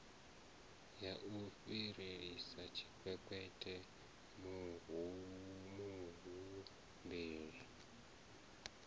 ya u fhirisela tshikwekwete muhumbeli